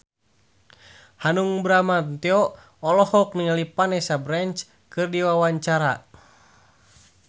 Hanung Bramantyo olohok ningali Vanessa Branch keur diwawancara